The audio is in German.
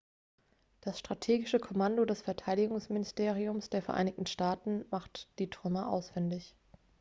das strategische kommando des verteidigungsministeriums der vereinigten staaten macht die trümmer ausfindig